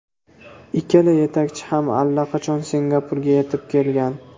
Ikkala yetakchi ham allaqachon Singapurga yetib kelgan.